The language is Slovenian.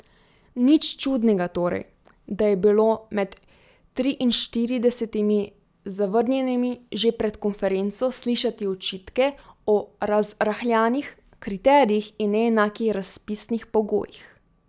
Nič čudnega torej, da je bilo med triinštiridesetimi zavrnjenimi že pred konferenco slišati očitke o razrahljanih kriterijih in neenakih razpisnih pogojih.